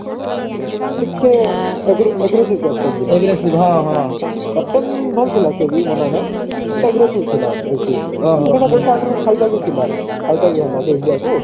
ଟିକେ ଆଗ୍ରେ aggressive captain ଥିଲା captain ଭଲ ଥିଲା ସେ ବି ମନା ନାହିଁ but aggressive ଥିଲା ବେଶି ବି ଥିଲା ଫାଇଦା ବି ହେଲା ଯେ india କୁ